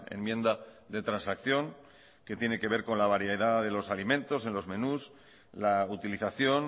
enmienda de transacción que tiene que ver con la variedad de los alimentos en los menús la utilización